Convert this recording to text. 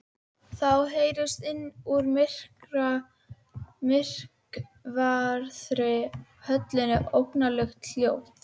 Þá heyrist innan úr myrkvaðri höllinni óhugnanlegt hljóð.